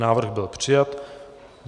Návrh byl přijat.